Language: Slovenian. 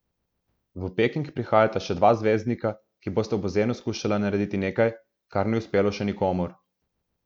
V Peking prihajata še dva zvezdnika, ki bosta v bazenu skušala narediti nekaj, kar ni uspelo še nikomur.